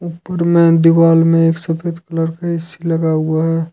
ऊपर में दीवाल में एक सफेद कलर का ए_सी लगा हुआ है।